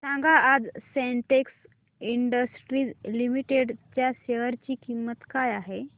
सांगा आज Sintex industries limited च्या शेअर ची किंमत काय आहे